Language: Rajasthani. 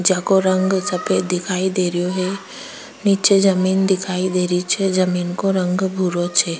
जेको रंग सफेद दिखाई देरो है निचे जमीं दिखाई देरो छे जमीं का रंग भूरो छे।